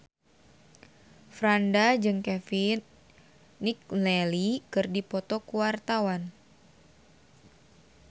Franda jeung Kevin McNally keur dipoto ku wartawan